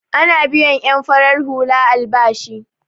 Ana biyan en farar hula albashi.